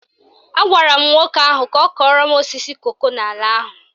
Agwara m nwoke ahụ ka ọ kọrọ m osisi koko n'ala ahụ